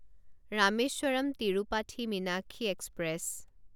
Rameswaram Tirupati Meenakshi express